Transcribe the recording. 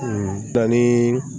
danni